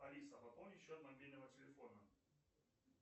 алиса пополни счет мобильного телефона